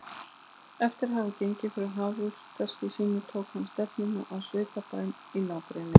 Eftir að hafa gengið frá hafurtaski sínu tók hann stefnuna á sveitabæinn í nágrenninu.